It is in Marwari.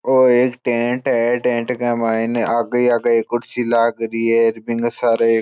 और एक टेंट है टेंट का मईने आगे आगे कुर्सी लगारी है बीके सारे एक --